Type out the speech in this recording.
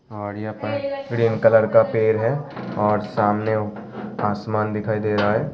और यहाँ पर ग्रीन कलर का पेड़ है और सामने आसमान दिखाई दे रहा है।